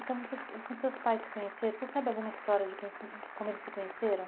Então, vocês quando seus pais se conheceram, você sabe alguma história de como se como eles se conheceram?